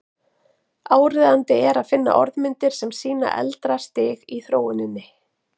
Áríðandi er að finna orðmyndir sem sýna eldra stig í þróuninni.